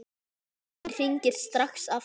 Síminn hringir strax aftur.